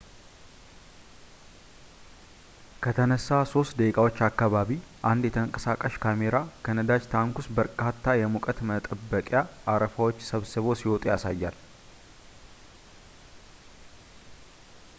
ከተነሳ 3 ደቂቃዎች አካባቢ አንድ የተንቀሳቃሽ ካሜራ ከነዳጅ ታንክ ውስጥ በርካታ የሙቀት መጠበቂያ አረፋዎች ሰብረው ሲወጡ ያሳያል